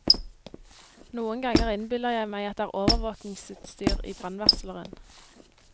Noen ganger innbiller jeg meg at det er overvåkingsutstyr i brannvarsleren.